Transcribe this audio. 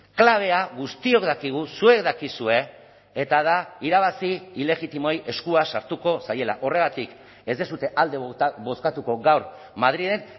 klabea guztiok dakigu zuek dakizue eta da irabazi ilegitimoei eskua sartuko zaiela horregatik ez duzue alde bozkatuko gaur madrilen